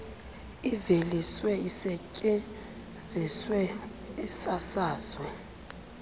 iveliswe isetyenziswe isasazwe